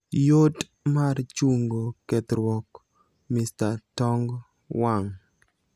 yot mar chungo kethruok mr tong wang'